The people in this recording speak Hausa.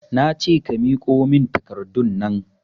Nace ka miƙo min takardunnan